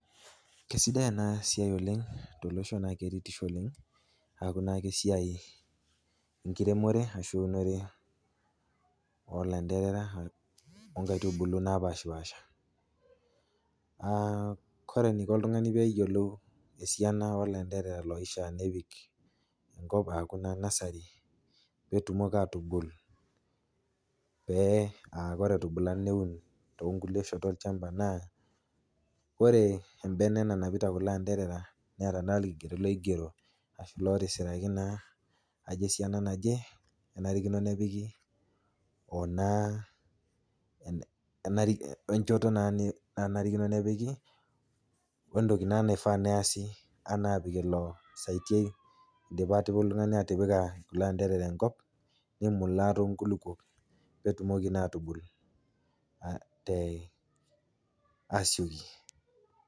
Keisidai enasiai oleng' tolosho naa keretisho oleng' aaku nake esiai enkiremore ashuu eunore olanteerera onkaitubulu napashpaasha. [Aa] kore eneiko oltung'ani peeyiolou esiana olanteerera loishaa nepik enkop aaku naa nursery peetumoki aatubul pee [aa] kore etubula neun toonkulie shot olchamba naa ore embene nanapita kuloanteerera neeta naa ilkigerot loigero ashu lotisiraki naa ajo esiana naje enarikino nepiki oonaa enari, oenchoto naa nanarikino nepiki oentoki naa naifaa neeasi anaa apik ilo saitiai indipa atipika oltung'ani atipika ilanteerera enkop nimulaa toonkulukuok peetumoki naatubul te asioki.